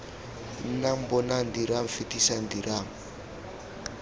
nnang bonang dirang fetisang dirang